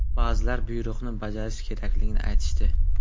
Ba’zilar buyruqni bajarish kerakligini aytishdi.